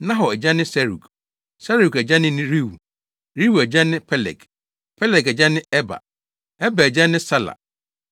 Nahor agya ne Serug; Serug agya ne Reu; Reu agya ne Peleg; Peleg agya ne Eber; Eber agya ne Sala;